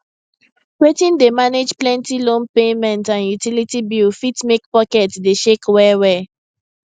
wetin dey manage plenty loan payment and utility bill fit make pocket dey shake well well